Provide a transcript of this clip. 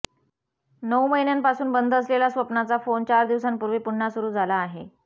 नऊ महिन्यांपासून बंद असलेला स्वप्नाचा फोन चार दिवसांपूर्वी पुन्हा सुरु झाला आहे